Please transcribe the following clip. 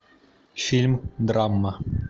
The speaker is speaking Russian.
фильм драма